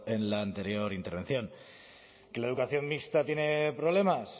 en la anterior intervención qué la educación mixta tiene problemas